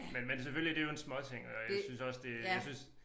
Men men selvfølgelig det jo en småting og jeg synes også det jeg synes